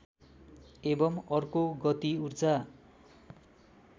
एवं अर्को गति ऊर्जा